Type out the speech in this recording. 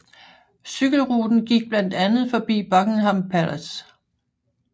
Cykelruten gik blandt andet forbi Buckingham Palace